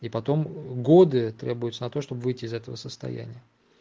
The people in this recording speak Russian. и потом годы требуется на то чтобы выйти из этого состояния